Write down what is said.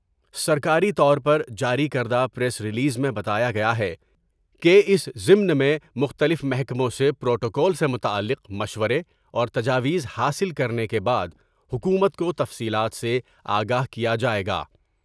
سرکاری طور پر جاری کردہ پریس ریلیز میں بتایا گیا ہے کہ اس ضمن میں مختلف محکموں سے پروٹوکول سے متعلق مشورے اور تجاویز حاصل کرنے کے بعد حکومت کو تفصیلات سے آگاہ کیا جاۓ گا۔